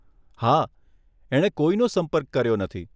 હા, એણે કોઈનો સંપર્ક કર્યો નથી.